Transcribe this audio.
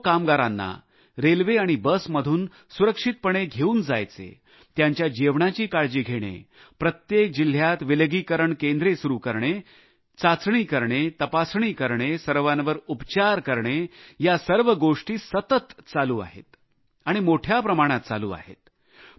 लाखो कामगारांना रेल्वे आणि बसमधून सुरक्षितपणे घेऊन जायचे त्यांच्या जेवणाची काळजी घेणे प्रत्येक जिल्ह्यात विलगीकरण केंद्रे सुरु करणे चाचणी करणे तपासणी करणे सर्वांवर उपचार करणे या सर्व गोष्टी सतत चालू आहेत आणि मोठ्या प्रमाणात चालू आहेत